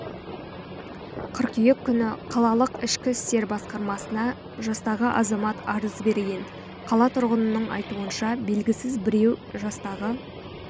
қыркүйек күні қалалық ішкі істер басқармасына жастағы азамат арыз берген қала тұрғынының айтуынша белгісіз біреу жастағы